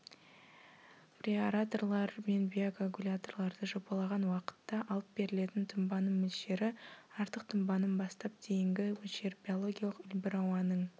преаэраторлар мен биокоагуляторларды жобалаған уақытта алып берілетін тұнбаның мөлшері артық тұнбаның бастап дейінгі мөлшері биологиялық үлбір ауаның